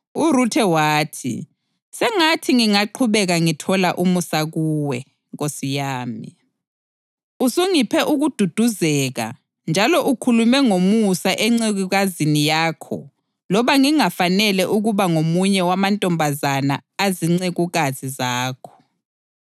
URuthe wathi, “Sengathi ngingaqhubeka ngithola umusa kuwe, nkosi yami. Usungiphe ukududuzeka njalo ukhulume ngomusa encekukazini yakho loba ngingafanele ukuba ngomunye wamantombazana azincekukazi zakho.”